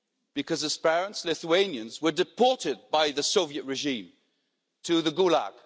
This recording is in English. Why? Because his parents, Lithuanians, were deported by the Soviet regime to the Gulag.